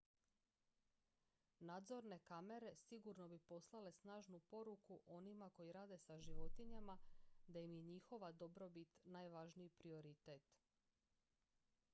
"""nadzorne kamere sigurno bi poslale snažnu poruku onima koji rade sa životinjama da im je njihova dobrobit najvažniji prioritet.""